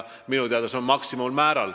Minu teada on see maksimummäär.